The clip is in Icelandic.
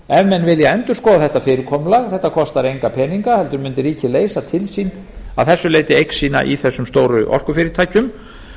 ef menn vilja endurskoða þetta fyrirkomulag þetta kostar enga peninga heldur mundi ríkið leysa til sín að þessu leyti eign sína í þessum stóru orkufyrirtækjum